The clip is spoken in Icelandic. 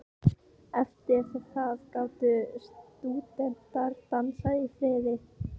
Eftir það gátu stúdentar dansað í friði.